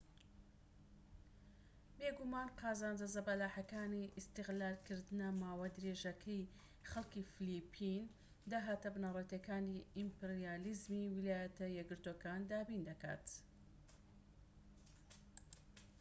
بێگومان قازانجە زەبەلاحەکانی ئیستیغلالکردنە ماوەدرێژەکەی خەلکی فلیپین داهاتە بنەرەتیەکانی ئیمپریالیزمی ویلایەتە یەکگرتوەکان دابین دەکات